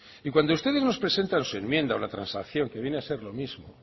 y cuando ustedes nos presentan su enmienda o la transacción que viene a ser lo mismo